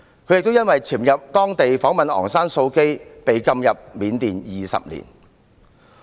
他亦因為潛入緬甸訪問昂山素姬而被禁入緬甸20年。